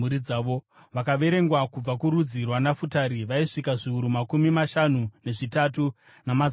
Vakaverengwa kubva kurudzi rwaNafutari vaisvika zviuru makumi mashanu nezvitatu, namazana mana.